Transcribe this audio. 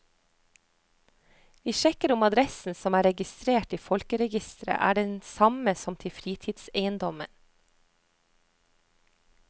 Vi sjekker om adressen som er registrert i folkeregisteret er den samme som til fritidseiendommen.